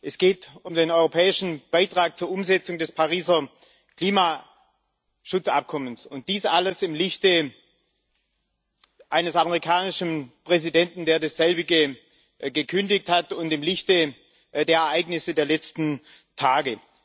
Es geht um den europäischen Beitrag zur Umsetzung des Pariser Klimaschutzabkommens dies alles im Lichte eines amerikanischen Präsidenten, der das selbige gekündigt, hat und im Lichte der Ereignisse der letzten Tage.